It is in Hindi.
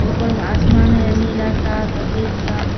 ऊपर में आसमान है नीला सा सफेद सा।